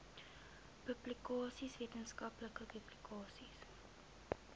publikasies wetenskaplike publikasies